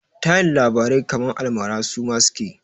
Tayin labarai kaman almara suma suke?